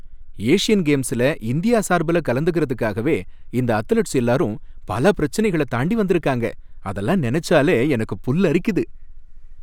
Asian கேம்ஸ்ல India சார்புல கலந்துக்கறதுக்காகவே இந்த அத்லெட்ஸ் எல்லாரும் பல பிரச்சனைகளை தாண்டி வந்திருக்காங்க, அதெல்லாம் நினைச்சாலே எனக்கு புல்லரிக்குது!